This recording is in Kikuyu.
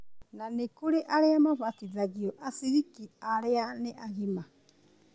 na nĩkũrĩ arĩa mabatithagia aciriki arĩa nĩ agima